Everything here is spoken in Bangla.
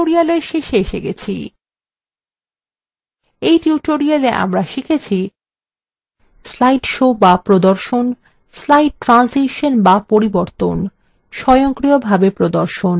আমরা এই tutorialএর শেষে এসে গেছি এই tutorialwe আমরা শিখেছি : slide স বা প্রদর্শন slide ট্রানজিশন বা পরিবর্তন স্বয়ংক্রিয়ভাবে প্রদর্শন